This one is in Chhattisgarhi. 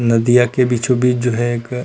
नदिया के बीचो बीच जो है एक--